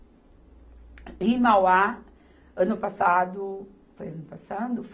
E em Mauá, ano passado... Foi ano passado?